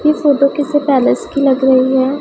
ये फोटो किसी पैलेस की लग रही है।